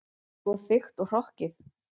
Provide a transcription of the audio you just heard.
Svo þykkt og hrokkið.